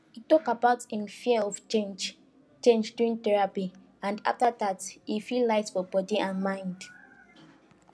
he talk about him fear of change change during therapy and after that e feel light for body and mind